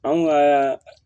Anw ka